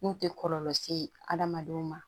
N'u tɛ kɔlɔlɔ se hadamadenw ma